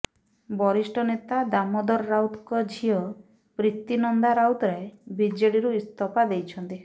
ବରିଷ୍ଠ ନେତା ଦାମୋଦର ରାଉତଙ୍କ ଝିଅ ପ୍ରୀତିନନ୍ଦା ରାଉତରାୟ ବିଜେଡିରୁ ଇସ୍ତଫା ଦେଇଛନ୍ତି